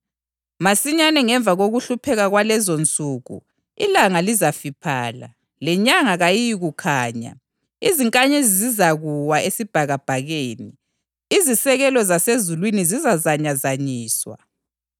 Masinyane ngemva kokuhlupheka kwalezonsuku, ‘ilanga lizafiphala lenyanga kayiyikukhanya; izinkanyezi zizakuwa esibhakabhakeni, izisekelo zasezulwini zizazanyazanyiswa.’ + 24.29 U-Isaya 13.10; 34.4